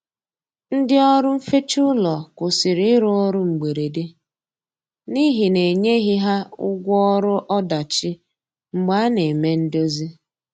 Ndi ọrụ nfecha ụlọ kwusịrị irụ ọrụ mgberede n'ihi na enyeghi ha ụgwọ ọrụ ọdachi mgbe a na eme ndozi